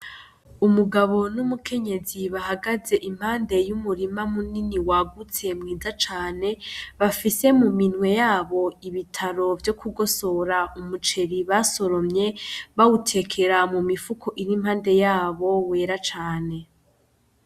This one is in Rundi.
Umugabo n'umukenyezi bahagaz' impande y'umurima munini wagutse mwiza cane, bafise mu minwe yabo ibitaro vyo kugosora umuceri basoromye, bawutekera mu mifuko ir'impande yabo yera cane.